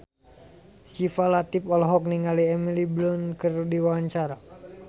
Syifa Latief olohok ningali Emily Blunt keur diwawancara